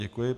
Děkuji.